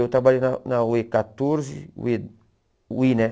Eu trabalhei na na u ê quatorze, u ê... U i, né?